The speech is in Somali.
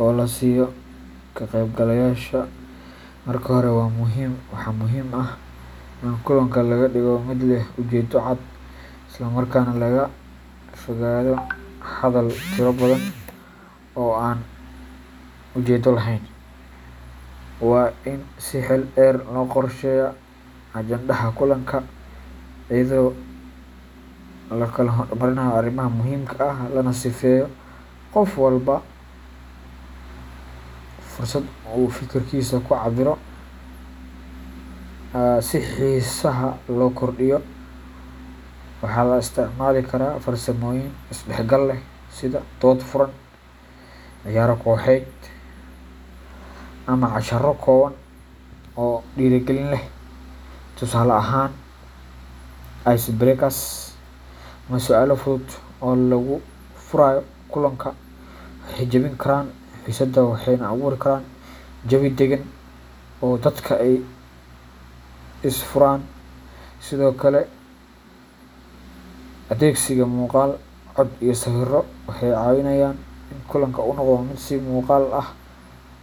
oo la siiyo ka qaybgalayaasha. Marka hore, waxaa muhiim ah in kulanka laga dhigo mid leh ujeedo cad, isla markaana laga fogaado hadal tiro badan oo aan ujeedo laheyn. Waa in si xeel dheer loo qorsheeyaa ajandaha kulanka, iyadoo la kala hormarinayo arrimaha muhiimka ah, lana siiyo qof walba fursad uu fikraddiisa ku cabbiro. Si xiisaha loo kordhiyo, waxaa la isticmaali karaa farsamooyin is dhexgal leh sida dood furan, ciyaaro kooxeed, ama casharro kooban oo dhiirrigelin leh. Tusaale ahaan, ice breakers ama su’aalo fudud oo lagu furayo kulanka waxay jabin karaan xiisadda waxayna abuuri karaan jawi daggan oo dadka ay isfuraan. Sidoo kale, adeegsiga muuqaal, cod, iyo sawirro waxay caawinayaan in kulanka uu noqdo mid si muuqaal ah.